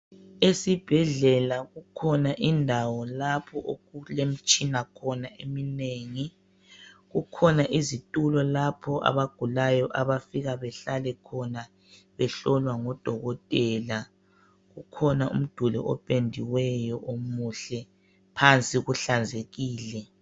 Esibhedlela kukhona indawo lapho okulemitshina khona eminengi kukhona izitulo lapho abagulayo abafika behlale khona behlola ngudokotela kukhona umduli opendiweyo omuhle phansi kuhlanzekile.